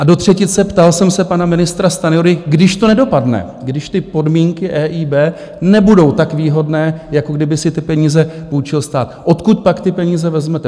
A do třetice ptal jsem se pana ministra Stanjury: když to nedopadne, když ty podmínky EIB nebudou tak výhodné, jako kdyby si ty peníze půjčil stát, odkud pak ty peníze vezmete?